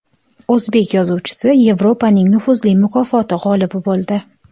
O‘zbek yozuvchisi Yevropaning nufuzli mukofoti g‘olibi bo‘ldi.